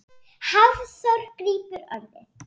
Hafþór grípur orðið.